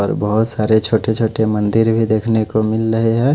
और बहोत सारे छोटे छोटे मंदिर भी देखने को मिल रहे हैं।